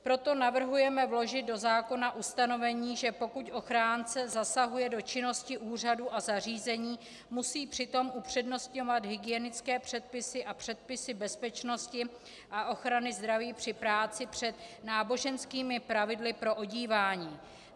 Proto navrhujeme vložit do zákona ustanovení, že pokud ochránce zasahuje do činnosti úřadů a zařízení, musí přitom upřednostňovat hygienické předpisy a předpisy bezpečnosti a ochrany zdraví při práci před náboženskými pravidly pro odívání.